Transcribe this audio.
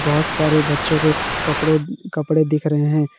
बहुत सारे बच्चों के कपड़ों कपड़े दिख रहे हैं।